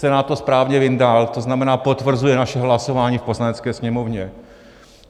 Senát to správně vyndal, to znamená, potvrzuje naše hlasování v Poslanecké sněmovně.